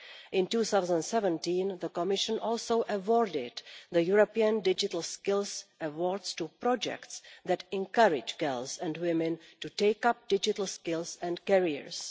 In 2017, the Commission also awarded the European digital skills award, presented to projects that encourage girls and women to take up digital skills and careers.